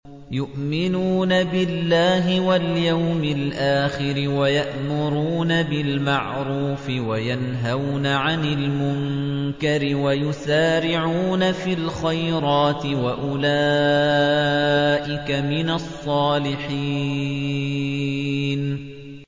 يُؤْمِنُونَ بِاللَّهِ وَالْيَوْمِ الْآخِرِ وَيَأْمُرُونَ بِالْمَعْرُوفِ وَيَنْهَوْنَ عَنِ الْمُنكَرِ وَيُسَارِعُونَ فِي الْخَيْرَاتِ وَأُولَٰئِكَ مِنَ الصَّالِحِينَ